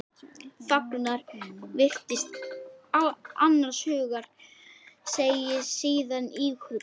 Þagnar, virðist annars hugar, segir síðan íhugul